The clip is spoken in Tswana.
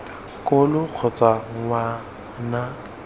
ko lo kgotsa ngwa na